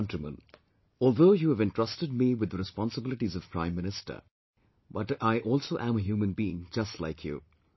My dear countrymen, although you have entrusted me with the responsibilities of Prime Minister but I also am a human being just like you